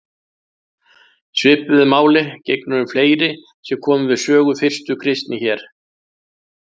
Svipuðu máli gegnir um fleiri sem komu við sögu fyrstu kristni hér.